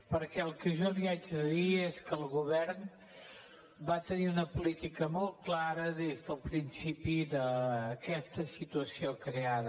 perquè el que jo li haig de dir és que el govern va tenir una política molt clara des del principi d’aquesta situació creada